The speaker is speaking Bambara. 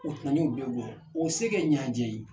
O kun nana o bɛ bɔ o se kɛ ɲajɛ ye